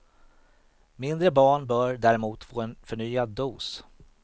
Mindre barn bör däremot få en förnyad dos.